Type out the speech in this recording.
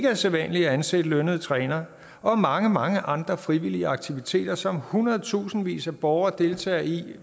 er sædvanligt at ansætte lønnede trænere og mange mange andre frivillige aktiviteter som hundredtusindvis af borgere deltager i